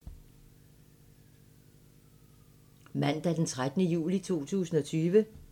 Mandag d. 13. juli 2020